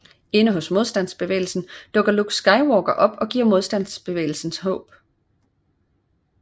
Inde hos Modstandsbevægelsen dukker Luke Skywalker op og giver Modstandsbevægelsen håb